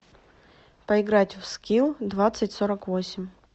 поиграть в скилл двадцать сорок восемь